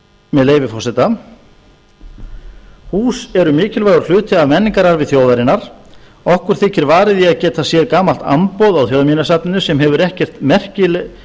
með leyfi forseta hús eru mikilvægur hluti af menningararfi þjóðarinnar okkur þykir varið í að geta séð gamalt amboð á þjóðminjasafninu sem